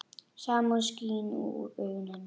Samúð skín úr augum hennar.